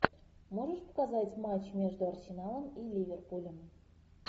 можешь показать матч между арсеналом и ливерпулем